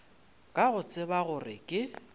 ka go tseba gore ke